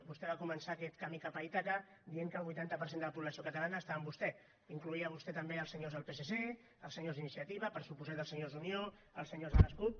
vostè va començar aquest camí cap a ítaca dient que el vuitanta per cent de la població catalana estava amb vostè incloïa vostè també els senyors del psc els senyors d’iniciativa per descomptat els senyors d’unió els senyors de les cup